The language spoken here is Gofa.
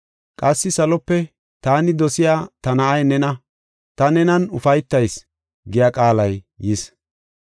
Qassi salope, “Taani dosiya ta na7ay nena; ta nenan ufaytayis” giya qaalay yis.